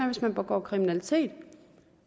hvis man begår kriminalitet